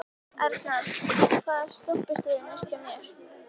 Arnald, hvaða stoppistöð er næst mér?